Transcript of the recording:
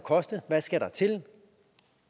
koste hvad skal der til